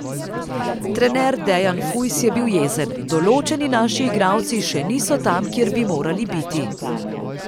Trener Dejan Fujs je bil jezen: 'Določeni naši igralci še niso tam, kjer bi morali biti.